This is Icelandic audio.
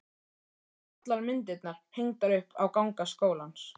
Svo voru allar myndirnar hengdar upp á ganga skólans.